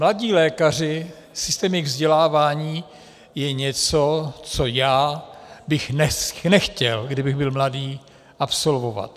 Mladí lékaři, systém jejich vzdělávání, je něco, co já bych nechtěl, kdybych byl mladý, absolvovat.